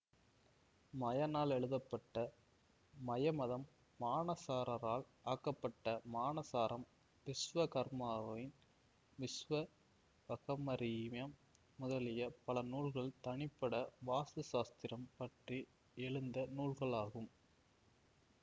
மயனால் எழுதப்பட்ட மயமதம் மானசாரரால் ஆக்கப்பட்ட மானசாரம் விஸ்வகர்மாவின் விஸ்வகர்மீயம் முதலிய பல நூல்கள் தனிப்பட வாஸ்து சாஸ்திரம் பற்றி எழுந்த நூல்களாகும்